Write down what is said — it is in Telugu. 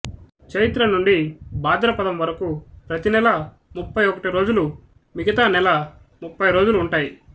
చైత్ర నుండి భాద్రపదం వరకు ప్రతి నెలా ముప్పై ఒకటి రోజులు మిగితా నెల ముప్పై రోజులు ఉంటాయి